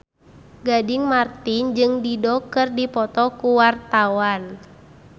Gading Marten jeung Dido keur dipoto ku wartawan